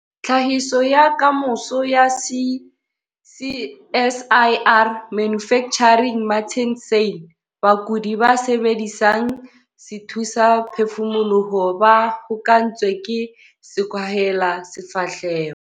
Tlhahiso ya Kamoso ya CSIR- Manufacturing Martin Sanne. Bakudi ba sebedisang sethusaphefumoloho ba hokahantswe ke sekwahelasefahleho.